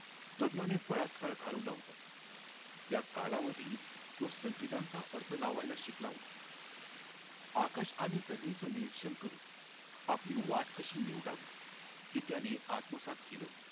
तरुणाने बराच काळ घळविला होता त्या कालावधीत तो संकेतांचा अर्थ लावायला शिकला होता आकाश आणि जमिनीचे निरीक्षण करून आपली वाट कशी निवडावी हे त्याने आत्मसात केल होत